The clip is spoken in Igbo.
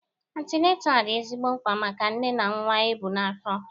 Antineta dị ezigbo mkpa maka nne na nwa e bu n'afọ